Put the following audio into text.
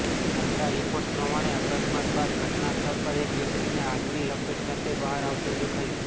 મળતા રિપોર્ટ્સ પ્રમાણે અકસ્માત બાદ ઘટનાસ્થળ પર એક વ્યક્તિને આગની લપેટ સાથે બહાર આવતો દેખાયો